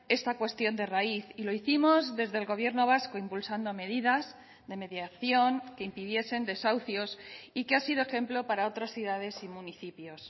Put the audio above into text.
esta cuestión de raíz y lo hicimos desde el gobierno vasco impulsando medidas de mediación que impidiesen desahucios y que ha sido ejemplo para otras ciudades y municipios